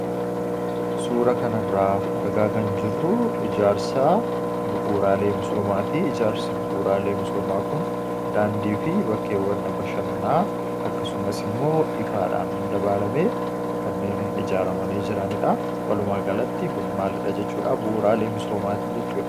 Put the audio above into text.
Suura kana irra argaa kan jirru ijaarsa bu'uuraalee misoomaati.